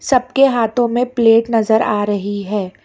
सबके हाथों में प्लेट नजर आ रही है।